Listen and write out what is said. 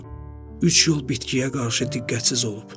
O üç il bitkiyə qarşı diqqətsiz olub.